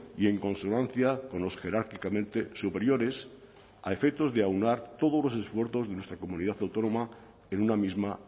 y en consonancia con los jerárquicamente superiores a efectos de aunar todos los esfuerzos de nuestra comunidad autónoma en una misma